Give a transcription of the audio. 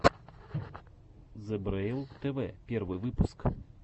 зебрэйл тв первый выпуск